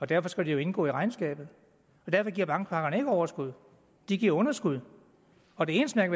derfor skal indgå i regnskabet derfor giver bankpakkerne ikke overskud de giver underskud og det eneste man